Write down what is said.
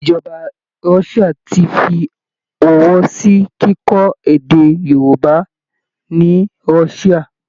Ìjọba Russia ti fi ọwọ́ sí kíkọ́ èdè Yorùbá ni Russia